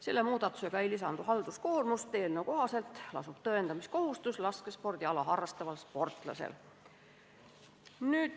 Selle muudatusega ei lisandu halduskoormust, sest eelnõu kohaselt lasub tõendamiskohustus laskespordiala harrastaval sportlasel.